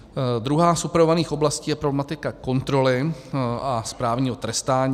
Druhá z upravovaných oblastí je problematika kontroly a správního trestání.